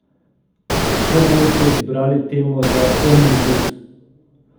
Kako boste izbrali temo za omnibus?